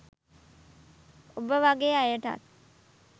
ඔබ වගෙ අයටත්